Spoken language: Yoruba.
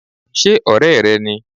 ṣe ọrẹ re ní?